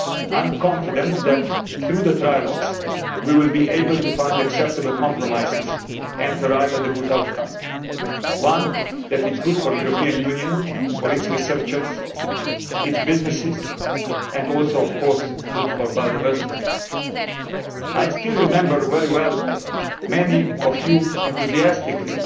I am confident that through the trialogues we will be able to find acceptable compromises and arrive at a good outcome one that is good for the European Union, for its researchers, its businesses and also, of course, good for biodiversity. I still remember very well many of you enthusiastically